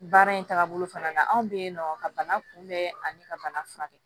Baara in tagabolo fana na anw bɛ yen nɔ ka bana kunbɛn ani ka bana furakɛ